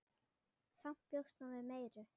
Samt bjóst hún við meiru.